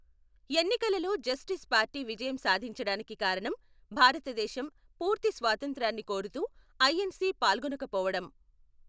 ఎన్నికలలో justice party విజయం సాధించడానికి కారణం భారతదేశం పూర్తి స్వాతంత్ర్యాన్ని కోరుతూ ఐఎన్సి పాల్గొనకపోవడం.